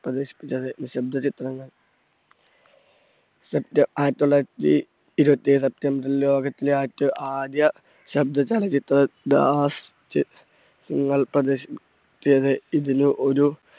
പ്രദർശിപ്പിച്ചത്. നിശബ്ദ ചിത്രങ്ങൾ ആയിരത്തി തൊള്ളായിരത്തി ഇരുപത്തേഴ് september റിൽ ലോകത്തിലെ ആദ്യത്തെ ആദ്യ ശബ്‌ദ ചലച്ചിത്രം പ്രദർശി~പ്പിച്ചത് ഇതില് ഒരു